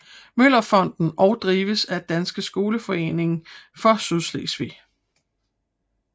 Møller Fonden og drives af Dansk Skoleforening for Sydslesvig